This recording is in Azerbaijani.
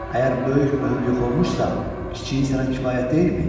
Əgər böyük möhür yox olmuşsa, kiçiyi sənə kifayət deyilmi?